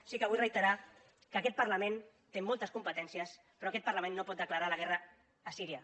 sí que vull reiterar que aquest parlament té moltes competències però aquest parlament no pot declarar la guerra a síria